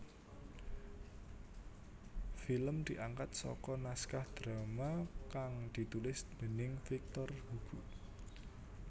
Film diangkat saka naskah drama kang ditulis déning Victor Hugo